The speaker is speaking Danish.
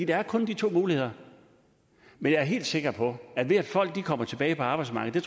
er kun de muligheder men jeg er helt sikker på at ved at folk kommer tilbage på arbejdsmarkedet